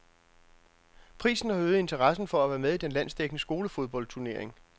Prisen har øget interessen for at være med i den landsdækkende skolefodboldturnering.